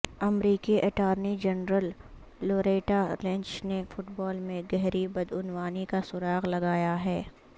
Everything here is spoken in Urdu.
امریکی اٹارنی جنرل لوریٹا لنچ نے فٹبال میں گہری بدعنوانی کا سراغ لگایا ہے